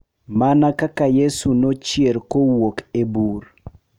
Mana kaka Yesu nochier kowuok e bur, .